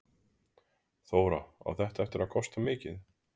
Þóra: Á þetta eftir að kosta mikið?